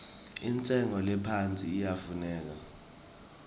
intshengo lephasi iyafuneka